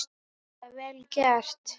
Sérlega vel gert.